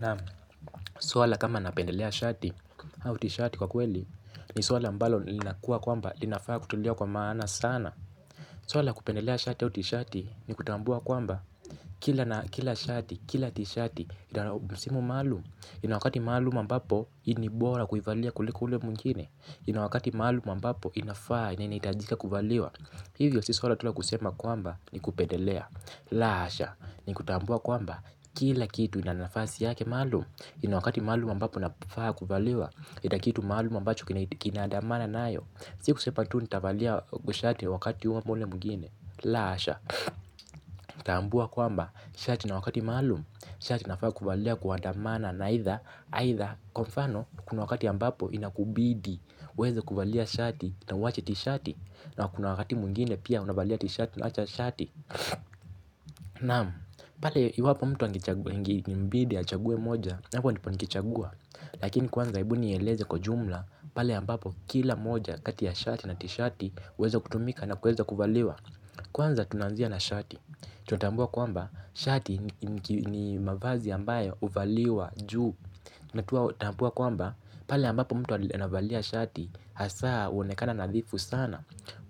Naam suala kama napendelea shati hau tishati kwa kweli ni suala ambalo lilinakua kwamba linafaa kutulia kwa maana sana. Suala la kupendelea shati hau tishati ni kutambua kwamba kila shati kila tishati idara msimu maluum. Inawakati maluum mbapo inibora kuivalia kuliko ule mungine. Inawakati malum ambapo inafaa na inaitajika kuvaliwa. Hivyo si suala tu la kusema kwamba ni kupendelea. La hasha ni kutambua kwamba kila kitu inanafasi yake malum. Ina wakati maalum ambapo nafaa kuvaliwa, ina kitu maalum ambacho kinaandamana naayo. Si kusepa tu nitavalia kushati wakati uwa mule mungine. La asha, taambua kwamba, shati na wakati maalum, shati nafaa kuvaliwa kuandamana. Na aitha, aitha, kwa mfano, kuna wakati ambapo inakubidi, uweze kuvaliw shati, na uwache tishati. Na kuna wakati mwingine pia unavalia tishati, na unacha shati. Naam pale, iwapo mtu angechagua, ingi mbidi, achague moja, na mponipo nikichagwa. Lakini kwanza ebu nieleze kwa jumla, pale ambapo kila moja kati ya shati na tishati uweza kutumika na kuweza kuvaliwa. Kwanza tunanzia na shati, tunatambua kwamba shati ni mavazi ambayo uvaliwa juu. Natuatambua kwamba pale ambapo mtu anavalia shati hasaa uonekana nadhifu sana.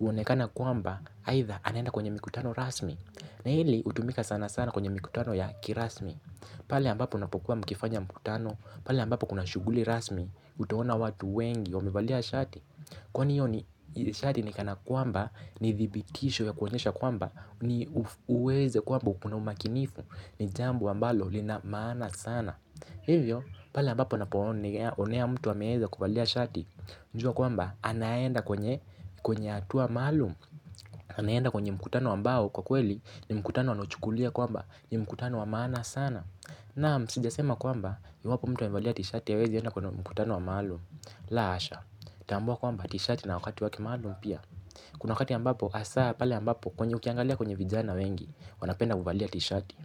Uonekana kwamba aitha anenda kwenye mikutano rasmi. Na hili utumika sana sana kwenye mikutano ya kirasmi. Pale ambapo unapokuwa mkifanya mkutano, pale ambapo kuna shuguli rasmi, utaona watu wengi, wamevalia shati. Kwani iyo ni, shati nikana kwamba, ni thibitisho ya kuonyesha kwamba, ni uweze kwamba uko na umakinifu, ni jambo ambalo lina maana sana. Hivyo, pale ambapo unaponi, onea mtu ameeza kuvalia shati, jua kwamba, anaenda kwenye, kwenye atua maalum. Anaenda kwenye mkutano ambao kwa kweli, ni mkutano anochukulia kwamba, ni mkutano wa maana sana. Naam sijasema kwamba iwapo mtu amevalia tishati awezi enda kwenye mkutano wa maalum. La hasha, tambua kwamba tshati ina wakati wake maalum pia. Kuna wakati ambapo asaa pale ambapo kwenye ukiangalia kwenye vijana wengi. Wanapenda kuvalia tishati.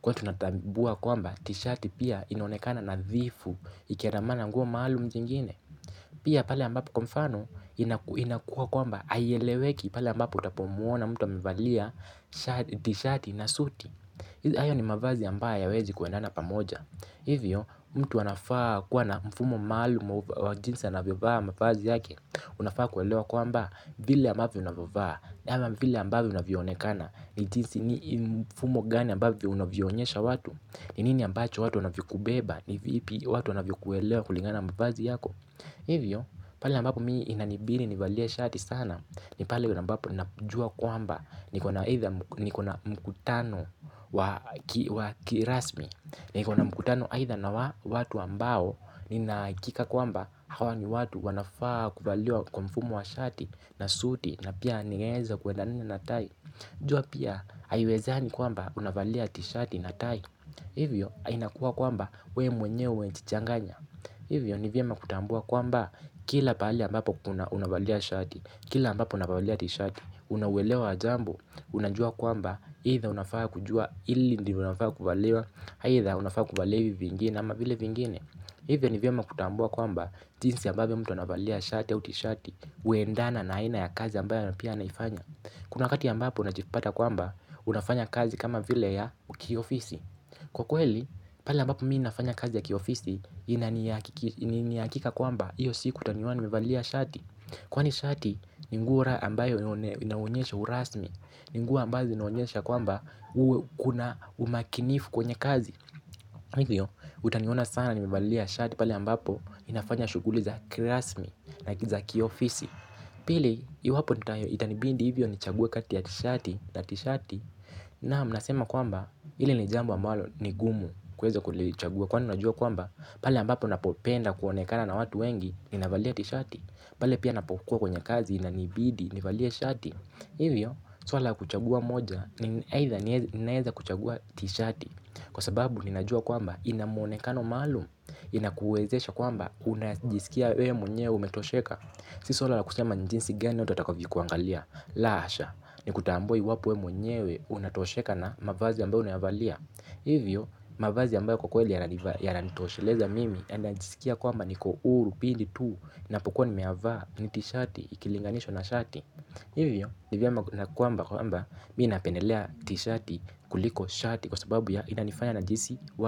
Kwa tunatambua kwamba tishati pia inaonekana nadhifu. Ikiandamana nguo maalum jingine. Pia pale ambapo kwa mfano inakuwa kwamba aieleweki pale ambapo utapomuona mtu amevalia tishati na suti. Hayo ni mavazi ambayo hayawezi kuendana pamoja. Hivyo mtu anafaa kuwa na mfumo maluum wa jinsi anavyovaa mavazi yake. Unafaa kuelewa kwamba vile ambavyo unavovaa nama vile ambavyo unavyonekana. Ni jinsi ni mfumo gani ambavyo unavionyesha watu. Ni nini ambacho watu unavikubeba. Ni vipi watu wanavyokuelewa kulingana mavazi yako. Hivyo pali ambapo mii inanibidi nivalie shati sana. Ni pali ambapo unapujua kwamba niko na mkutano wa kirasmi. Niko na mkutano aitha na watu ambao ninaikika kwamba hawa ni watu wanafaa kuvaliwa kwa mfumu wa shati na suuti na pia ningeza kwedanina na tai. Jua pia haiwezani kwamba unavalia tishati na tai. Hivyo hainakuwa kwamba we mwenyewe nchichanganya. Hivyo nivyema kutambua kwamba kila pali ambapo kuna unavalia tishati, kila ambapo unavalia tishati, unauwelewa ajambo. Unajua kwamba aitha unafaa kujua ili ndi unafaa kubalewa. Haitha unafaa kubalevi vingine ama vile vingine. Hive ni vyoma kutambua kwamba jinsi ya mbabe mtu unavalia shati ya uti shati. Uendana na haina ya kazi ambayo napia naifanya. Kuna wakati ambapo unajifpata kwamba unafanya kazi kama vile ya kiofisi. Kwa kweli pala mbapo miinafanya kazi ya kiofisi inaniyakika kwamba iyo si kutaniwani mevalia shati. Kwani shati ningura ambayo inaunyesha urasmi. Ninguwa mbazi naonyesha kwamba uwe kuna umakinifu kwenye kazi. Hivyo utaniona sana nimivalia shati pali ambapo inafanya shuguli za klasmi na za kiofisi. Pili iwapo nitayo itanibindi hivyo nichague kati ya tishati na tishati. Naam nasema kwamba hili ni jambo ambalo ni gumu kuweza kulichagua kwani najua kwamba pali ambapo napopenda kuonekana na watu wengi ninavalia tishati. Pali pia napopukua kwenye kazi inanibidi nivalia shati. Hivyo, swala kuchagua moja ni aitha ninaeza kuchagua tishati. Kwa sababu ninajua kwamba ina muonekano maalum. Inakuwezesha kwamba unajisikia we mwenyewe umetosheka. Sisi swala la kusema njinsi gani watu watakavyo kuangalia. La hasha, ni kutambua iwapo we mwenyewe unatosheka na mavazi ambayo unayavalia. Hivyo, mavazi ambayo kwa kweli yana nitoshileza mimi yana njisikia kwamba niko uru, pindi tuu, napukuwa nimeyavaa, ni tishati, ikilinganishwa na shati hivyo hivyo na kwamba kwamba mi napenelea tishati kuliko shati kwa sababu ya inanifanya najiisi wazi.